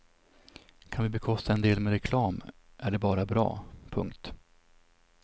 Kan vi bekosta en del med reklam är det bara bra. punkt